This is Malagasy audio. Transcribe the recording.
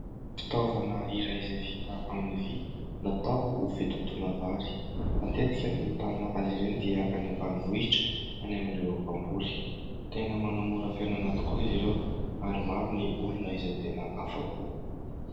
Fitaovana iray izay vita amin'ny vy, natao ho fitotoana vary. Matetika ny ahitana azy ireny dia any ambanivohitra any amin'ireo mpamboly. Tena manamora fiainana tokoa izy ireo ary maro ny olona izay tena afa-po.